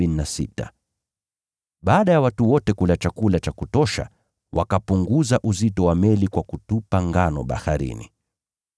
Baada ya watu wote kula chakula cha kutosha, wakapunguza uzito wa meli kwa kutupa ngano baharini.